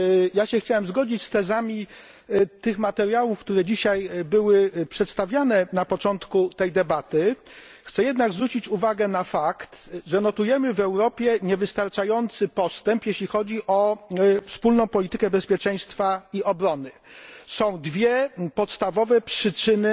Ja się chciałem zgodzić z tezami tych materiałów, które dzisiaj były przedstawiane na początku tej debaty, chcę jednak zwrócić uwagę na fakt, że odnotowujemy w Europie niewystarczający postęp, jeśli chodzi o wspólną politykę bezpieczeństwa i obrony. Są dwie podstawowe przyczyny